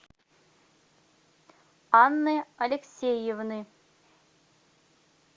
анны алексеевны